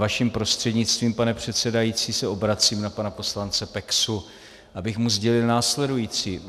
Vaším prostřednictvím, pane předsedající, se obracím na pana poslance Peksu, abych mu sdělil následující.